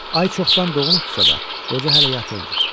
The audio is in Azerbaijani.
Ay çoxdan doğmuşdusa da, qoca hələ yatırdı.